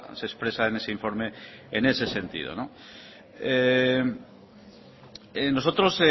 se expresa en ese informe en ese sentido nosotros